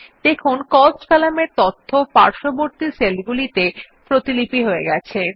দেখুন কস্ট কলামের তথ্য পার্শ্ববর্তী সেলগুলিতে কপি হয়ে গেছে